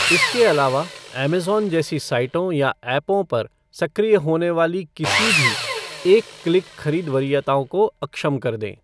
इसके अलावा, ऐमेज़ॉन जैसी साइटों या ऐपों पर सक्रिय होने वाली किसी भी 'एक क्लिक' खरीद वरीयताओं को अक्षम कर दें।